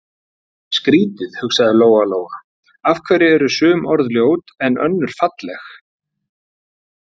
Að fá að vera tengiliður milli guðs og manna hérna- það er bara dásamlegt.